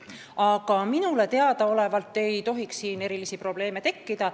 Aga minu teada ei tohiks erilisi probleeme tekkida.